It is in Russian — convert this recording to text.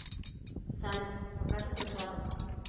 салют покажи припадок